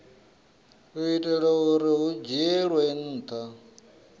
itela uri hu dzhielwe nha